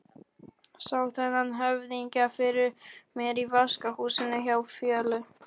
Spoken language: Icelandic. Sá þennan höfðingja fyrir mér í vaskahúsinu hjá Fjólu.